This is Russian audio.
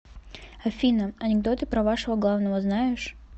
афина анекдоты про вашего главного знаешь